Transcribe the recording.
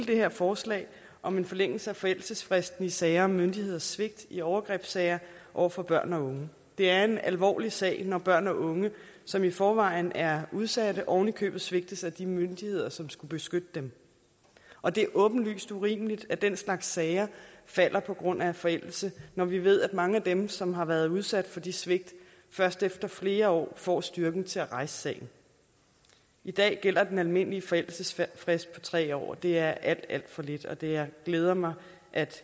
det her forslag om en forlængelse af forældelsesfristen i sager om myndigheders svigt i overgrebssager over for børn og unge det er en alvorlig sag når børn og unge som i forvejen er udsatte oven i købet svigtes af de myndigheder som skulle beskytte dem og det er åbenlyst urimeligt at den slags sager falder på grund af forældelse når vi ved at mange af dem som har været udsat for de svigt først efter flere år får styrken til at rejse sagen i dag gælder den almindelige forældelsesfrist på tre år og det er alt alt for lidt og det glæder mig at